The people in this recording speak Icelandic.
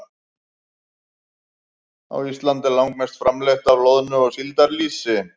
Á Íslandi er langmest framleitt af loðnu- og síldarlýsi.